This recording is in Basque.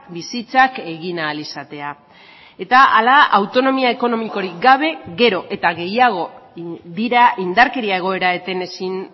bizitzak egin ahal izatea eta hala autonomia ekonomikorik gabe gero eta gehiago dira indarkeria egoera eten ezin